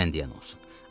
sən deyən olsun.